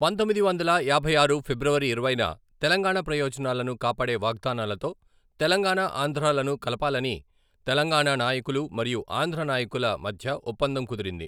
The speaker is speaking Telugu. పంతొమ్మిది వందల యాభై ఆరు ఫిబ్రవరి ఇరవైన తెలంగాణ ప్రయోజనాలను కాపాడే వాగ్దానాలతో తెలంగాణా, ఆంధ్రాలను కలపాలని తెలంగాణ నాయకులు మరియు ఆంధ్ర నాయకుల మధ్య ఒప్పందం కుదిరింది.